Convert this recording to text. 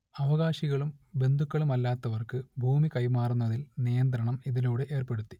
അവകാശികളും ബന്ധുക്കളുമല്ലാത്തവർക്ക് ഭൂമി കൈമാറുന്നതിൽ നിയന്ത്രണം ഇതിലൂടെ ഏർപ്പെടുത്തി